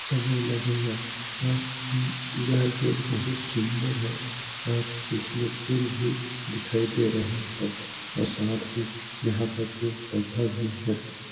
समय लगेगा पर उम जहाँ की बहुत सुन्दर है पर इसमें फूल भी दिखाई दे रहा है और साथ में यहाँ पर पेड़-पौधा भी हैं।